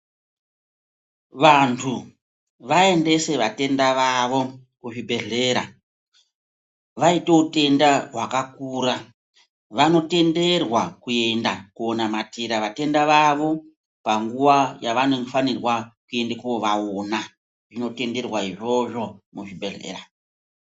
Vantu vaendese vatenda vavo kuzvibhedhlera. Vaite utenda hwakakura vanotenderwa kuenda konamatira vatenda vavo panguva yavanofanirwa kuenda kovaona zvinotenderwa izvozvo muzvibhedhlera.